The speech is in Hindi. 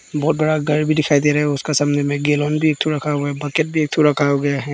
बहोत बड़ा घर भी दिखाई दे रहे हैं। उसका सामने में गैलन भी एक ठो रखा हुआ है। बकेट भी एक ठो रखा हुआ है।